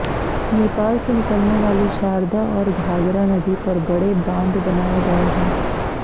नेपाल से निकलने वाली शारदा और घाघरा नदी पर बड़े बांध बनाये गये हैं